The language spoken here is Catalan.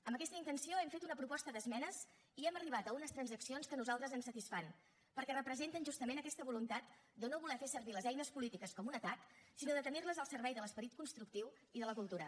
amb aquesta intenció hem fet una proposta d’esmenes i hem arribat a unes transaccions que a nosaltres ens satisfan perquè representen justament aquesta voluntat de no voler fer servir les eines polítiques com un atac sinó de tenir les al servei de l’esperit constructiu i de la cultura